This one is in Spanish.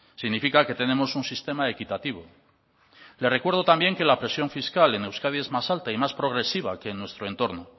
significa que tenemos un sistema equitativo le recuerdo también que la presión fiscal en euskadi es más alta y más progresiva que en nuestro entorno